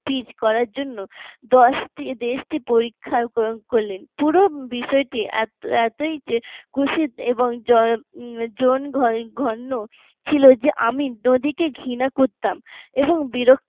সেচ করার জন্য দেশকে পরীক্ষা করলেন পুরো বিষয়টি এত এতই খুশির এবং জনঘন ছিল যে আমি নদীকে ঘৃণা করতাম এবং বিরক্তি